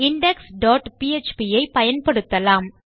index dot PHP ஐ பயன்படுத்தலாம்